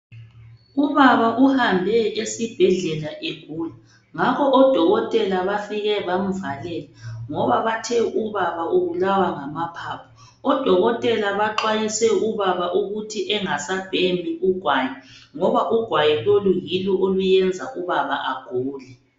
Ubaba uhambe esibhedlela egula ngakho odokotela bafike bamvalela ngoba bathe ubaba ubulawa ngamaphaphu. Odokotela baxwayise ubaba ukuthi angasabhemi ugwayi ngoba ugwayi lolu yilo olwenza ubaba agule.